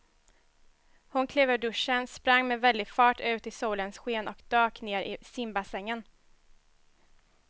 Hon klev ur duschen, sprang med väldig fart ut i solens sken och dök ner i simbassängen.